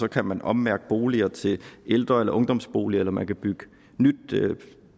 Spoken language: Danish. kan man ommærke boliger til ældre eller ungdomsboliger eller man kan bygge nyt